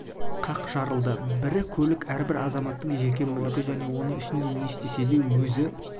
қақ жарылды бірі көлік әрбір азаматтың жеке мүлкі және оның ішінде не істесе де өз